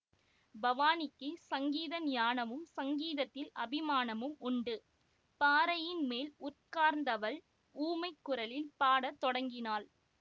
பவானிக்குச் சங்கீத ஞானமும் சங்கீதத்தில் அபிமானமும் உண்டு பாறையின் மேல் உட்கார்ந்தவள் ஊமைக் குரலில் பாட தொடங்கினாள்